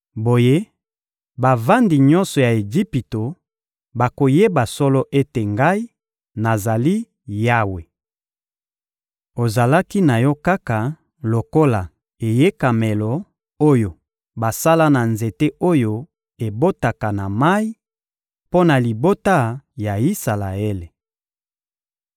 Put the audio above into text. Boye, bavandi nyonso ya Ejipito bakoyeba solo ete Ngai, nazali Yawe. Ozalaki na yo kaka lokola eyekamelo oyo basala na nzete oyo ebotaka na mayi, mpo na libota ya Isalaele.